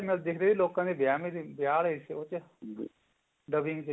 ਚ ਦਿਖਦੇ ਸੀ ਲੋਕਾਂ ਦੇ ਵਿਆਹ ਆਲੇ ਉਹਦੇ ਚ